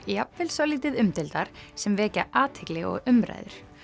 jafnvel svolítið umdeildar sem vekja athygli og umræður